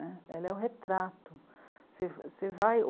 Ela é o retrato. Você vai